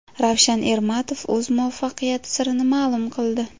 Ravshan Ermatov o‘z muvaffaqiyati sirini ma’lum qildi.